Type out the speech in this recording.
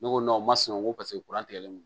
Ne ko o ma sina ko paseke kuran tigɛlen don